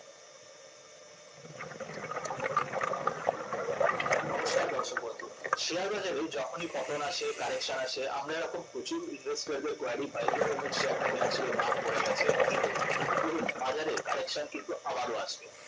নমস্কার দর্শকবন্ধু শেয়ার বাজারে যখনই পতন আসে correction আসে আমরা এরকম প্রচুর query পাই যে অমুক শেয়ারটা কেনার ছিল দাম পড়ে গেছে কি করব দেখুন বাজারে correction কিন্তু আবারও আসে